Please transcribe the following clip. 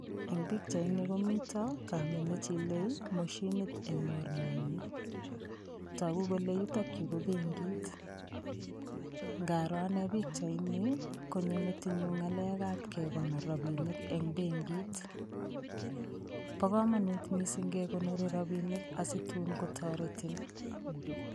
Eng' pikchaini komito kamet nechilei moshinit eng' mornenyi toku kole yutokyu ko benkit ngaro ane pikchaini konyo metinyu ng'alekab kekonor robinik eng' benkit bo komonut mising' kekonori robinik asi tuun kotoretin